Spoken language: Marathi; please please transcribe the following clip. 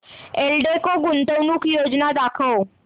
एल्डेको गुंतवणूक योजना दाखव